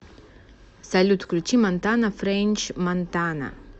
салют включи монтана френч монтана